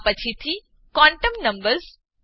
આ પછીથી quantum numbers ન